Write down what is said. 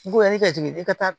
Goyanin ka jigin i ka taa